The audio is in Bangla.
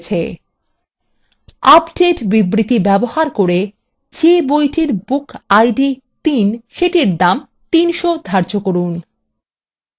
1 আপডেট বিবৃতি ব্যবহার করে যে বইটির bookid ৩ set দাম ৩০০ ধার্য করুন